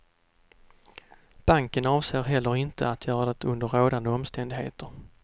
Banken avser heller inte att göra det under rådande omständigheter.